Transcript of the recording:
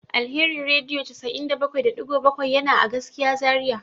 Alheri radio 78.7 yana a gaskiya Zaria.